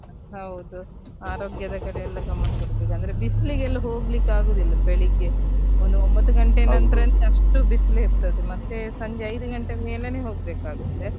ಹೌದು ಆರೋಗ್ಯದ ಕಡೆ ಎಲ್ಲ ಗಮನ ಕೊಡ್ಬೇಕು, ಅಂದ್ರೆ ಬಿಸ್ಲಿಗೆಲ್ಲ ಹೋಗ್ಲಿಕ್ಕೆ ಆಗುದಿಲ್ಲ ಬೆಳಿಗ್ಗೆ ಒಂದು ಒಂಬತ್ತು ಗಂಟೆಯ ಅಷ್ಟು ಬಿಸಲು ಇರ್ತದೆ ಮತ್ತೆ ಸಂಜೆ ಐದು ಗಂಟೆ ಮೇಲೇನೆ ಹೋಗ್ಬೇಕು ಆಗತ್ತೆ.